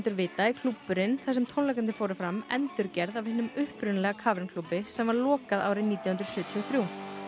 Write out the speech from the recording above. vita er klúbburinn þar sem tónleikarnir fóru fram endurgerð af hinum upprunalega klúbbi sem var lokað nítján hundruð sjötíu og þrjú